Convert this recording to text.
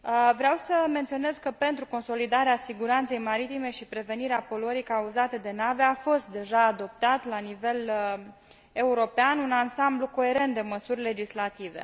Vreau să menționez că pentru consolidarea siguranței maritime și prevenirea poluării cauzate de nave a fost deja adoptat la nivel european un ansamblu coerent de măsuri legislative.